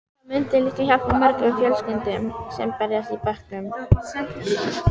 Það myndi líka hjálpa mörgum fjölskyldum sem berjast í bökkum.